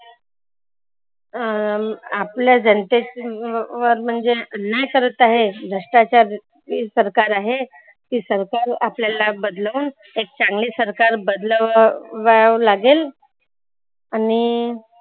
अं आपलं जनते व वर म्हणजे अन्याय करत आहे. भ्रष्टाचार ही सरकार आहे. ही सरकार आपल्याला बदलवून एक चांगली सरकार बस वा लागेल. आणि